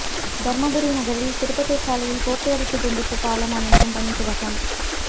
தர்மபுரி நகரில் திருப்பத்தூர் சாலையில் போக்குவரத்து துண்டிப்பு பாலம் அமைக்கும் பணி துவக்கம்